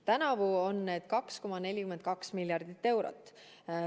Tänavu on need 2,42 miljardit eurot.